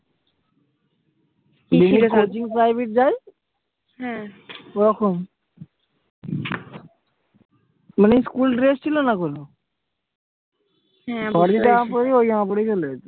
যেভাবে coaching private যাই ওরকম মানে school dress ছিল না কোনো। ওই জামা পরেই চলে যেতাম।